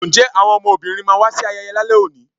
nje awọn ọmọbínrín ma wa sí ayeye lale òní?